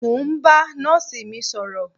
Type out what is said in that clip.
Mo ń ba nọ́ọ̀sì mi sọ̀rọ̀